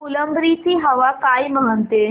फुलंब्री ची हवा काय म्हणते